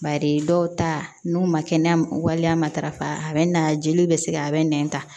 Bari dɔw ta n'u ma kɛnɛya waliya matarafa a bɛ na jeliw bɛ se ka a bɛ nɛn ta